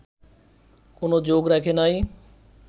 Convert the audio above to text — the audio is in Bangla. কোন যোগ রাখে নাই